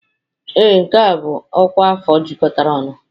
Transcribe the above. Ee, nke a bụ ọkwa afọ jikọtara ọnụ.